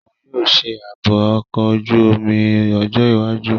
Oun yoo ṣe aabo ọkọ oju-omi ọjọ iwaju.